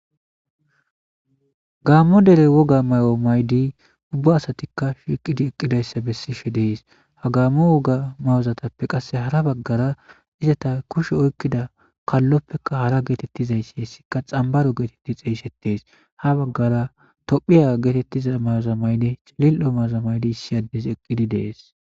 Gaammo dere woga may'o maydi ubba asatikka shiiqidi eqqidayssa bessishe dees ha gammo woga mayozatappe qasse hara baggara izata kushe oykkida kalloppeka hara geetettizayssi hessikka xambaro geetetti xeeyshetees ha baggara tophiya geetettiza mayzamaynde cilil'o mazamaydi issi addes eqqidi dees.